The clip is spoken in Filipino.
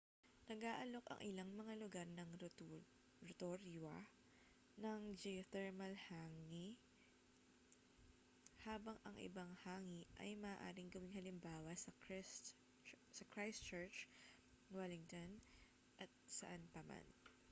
nag-aalok ang ilang mga lugar ng rotorua ng geothermal hangi habang ang ibang hangi ay maaaring gawing halimbawa sa christchurch wellington at saan pa man